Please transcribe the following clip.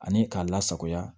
Ani k'a lasagoya